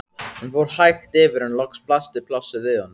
Hann fór hægt yfir en loks blasti plássið við honum.